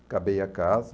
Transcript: Acabei a casa.